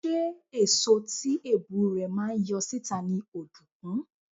Ṣé èso tí èbù rẹ̀ máa ń yọ síta ni ọ̀dùnkún?